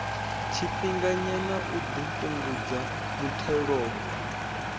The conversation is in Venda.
tshifhinganyana u ḓo fhungudza muthelogu